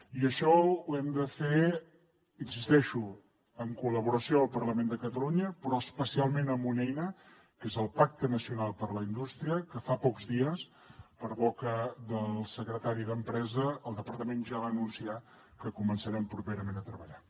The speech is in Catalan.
i això ho hem de fer hi insisteixo en col·laboració al parlament de catalunya però especialment amb una eina que és el pacte nacional per la indústria que fa pocs dies per boca del secretari d’empresa el departament ja va anunciar que començarem properament a treballar